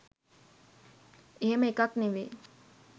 එහෙම එකක් නෙවෙයි.